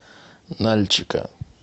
нальчика